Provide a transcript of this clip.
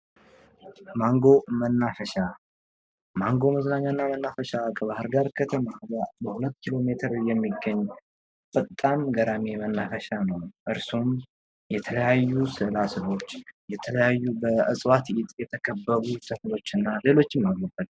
ማንጎ መናፈሻ ማንጎ መዝናኛና መናፈሻ ከባህር ዳር ከተማ በ 2 ኪሎ ሜትር ላይ የሚገኝ ፈጣን ገራሚ መናፈሻ ነው። እርስዎ የተለያዩ ስዕላ ሰዕሎች የተለያዩ በእፅዋት የተከበቡ ተክሎችና ሌሎችም አሉበት ።